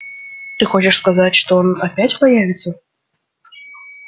ты хочешь сказать что он опять появится